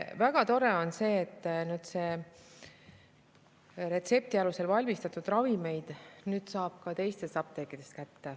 Väga tore on see, et retsepti alusel valmistatud ravimeid saab nüüd ka teistest apteekidest.